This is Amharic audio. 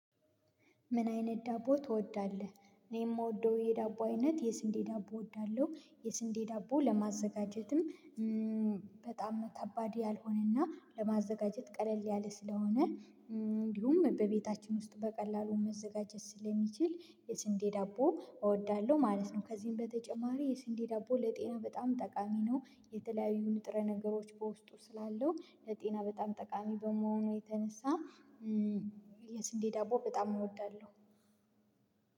ምን አይነት ዳቦ ትወዳለህ? እኔ የምወደው የዳቦ አይነት የስንዴ ዳቦ እወዳለሁ የስንዴ ዳቦ ለማዘጋጀትም በጣም ከባድ ያልሆነና ለማዘጋጀት ቀለል ያለ ስለሆነ እንዲሁም በቤታችን ውስጥ በቀላሉ መዘጋጀት ስለሚችል የስንዴ ዳቦ እወዳለሁ ማለት ነው ከዚህም በተጨማሪ የስንዲ ዳቦ ለጤና በጣም ጠቃሚ ነው የተለያዩ ንጥረ ነገሮች በውስጡ ስላለው ለጤና በጣም ጠቃሚ በመሆኑ የተነሳ የስንዴ ዳቦ በጣም እወዳለሁ